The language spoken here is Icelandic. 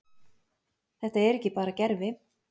Þetta er ekki bara gervi.